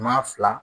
Maa fila